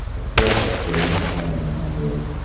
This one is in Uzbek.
Hatto kasbining tayini ham yo‘q.